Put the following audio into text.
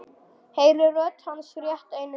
Heyri rödd hans rétt einu sinni.